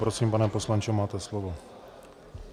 Prosím, pane poslanče, máte slovo.